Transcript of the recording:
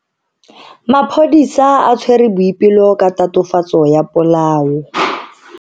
Maphodisa a tshwere Boipelo ka tatofatso ya polao.